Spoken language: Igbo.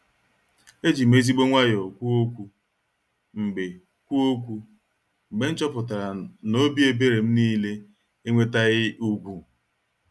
Ejim ezigbo nwayọ kwuo okwu mgbe kwuo okwu mgbe m chọpụtara n'obi ebere m niile enwetaghị ugwu.